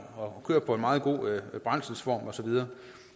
og kører på en meget god brændselsform og så videre